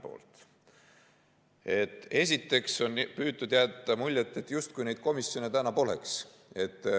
Kõigepealt on püütud jätta muljet, et neid komisjone polegi.